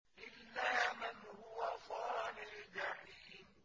إِلَّا مَنْ هُوَ صَالِ الْجَحِيمِ